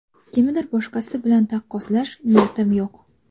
Kimnidir boshqasi bilan taqqoslash niyatim yo‘q.